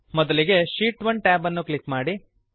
ಮೊದಲಿಗೆ sheet 1 tab ಅನ್ನು click ಮಾಡಿ